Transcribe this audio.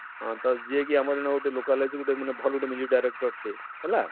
ହଁ ତ ଯିଏ କି ଆମର ଇନ ଗୁଟେ localogy ମାନେ ଭଲ ଗୁଟେ director ଟେ ହେଲା,